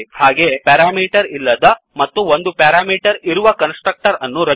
ಹಾಗೇ ಪೆರಾಮೀಟರ್ ಇಲ್ಲದ ಮತ್ತು ಒಂದು ಪೆರಾಮೀಟರ್ ಇರುವ ಕನ್ಸ್ ಟ್ರಕ್ಟರ್ ಅನ್ನು ರಚಿಸಿ